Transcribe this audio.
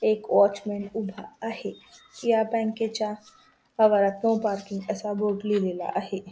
एक वॉचमन उभा आहे या बँके च्या आवारात नो पार्किंग असा बोर्ड लिहिलेला आहे.